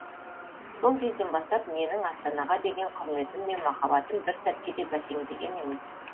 сол кезден бастап менің астанаға деген құрметім мен махаббатым бір сәтке де бәсеңдеген емес